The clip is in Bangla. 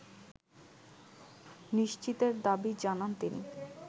নিশ্চিতের দাবি জানান তিনি